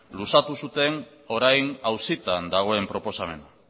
luzatu zuten orain auzitan dagoen proposamena